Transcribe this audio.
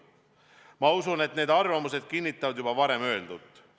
Ma usun, et need arvamused kinnitavad juba varem öeldut.